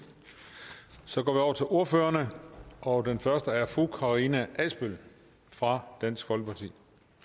så går til ordførerne og den første er fru karina adsbøl fra dansk folkeparti